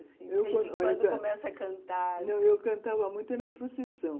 De vez em quando começa a cantar... Não, eu cantava muito nas procissões.